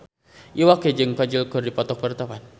Iwa K jeung Kajol keur dipoto ku wartawan